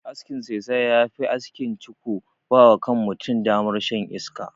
Askin saisaya ya fi askin "ciko" ba wa kan mutum damar shan iska.